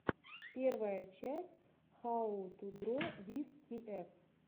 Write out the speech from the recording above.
первая часть хау ту дро виз тиэф